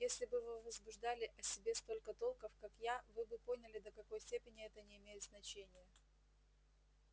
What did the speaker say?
если бы вы возбуждали о себе столько толков как я вы бы поняли до какой степени это не имеет значения